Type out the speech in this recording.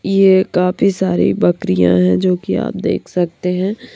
ये काफी सारी बकरियां हैं जो कि आप देख सकते हैं।